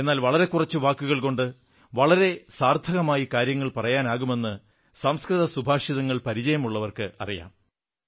എന്നാൽ വളരെ കുറച്ച് വാക്കുകൾ കൊണ്ട് വളരെ സാർത്ഥകമായി കാര്യങ്ങൾ പറയാനാകുമെന്ന് സംസ്കൃത സുഭാഷിതങ്ങൾ പരിചയമുള്ളവർക്കറിയാം